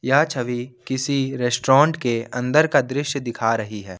यह छवि किसी रेस्टोरेंट के अंदर का दृश्य दिखा रही है।